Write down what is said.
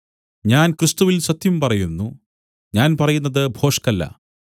ഞാൻ ക്രിസ്തുവിൽ സത്യം പറയുന്നു ഞാൻ പറയുന്നത് ഭോഷ്കല്ല